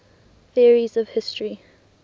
theories of history